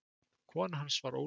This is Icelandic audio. Kona hans var Ólöf